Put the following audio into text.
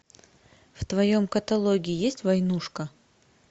в твоем каталоге есть войнушка